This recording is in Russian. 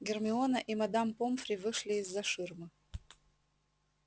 гермиона и мадам помфри вышли из-за ширмы